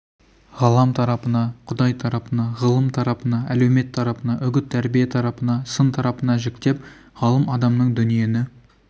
ғалам тарапына құдай тарапына ғылым тарапына әлеумет тарапына үгіт-тәрбие тарапына сын тарапына жіктеп ғалым адамның дүниені